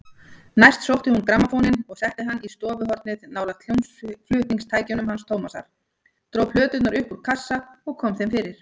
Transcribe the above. Næst sótti hún grammófóninn og setti hann í stofuhornið nálægt hljómflutningstækjunum hans Tómasar, dró plöturnar upp úr kassa og kom þeim fyrir.